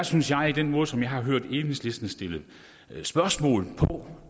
synes jeg i den måde som jeg har hørt enhedslisten stille spørgsmål på og